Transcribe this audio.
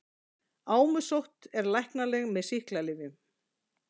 Ámusótt er læknanleg með sýklalyfjum.